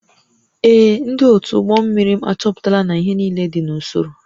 Ee. Ndị otu ụgbọ mmiri m achọpụtala na ihe niile dị n'usoro